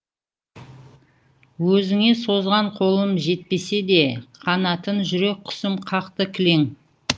өзіңе созған қолым жетпесе де қанатын жүрек құсым қақты кілең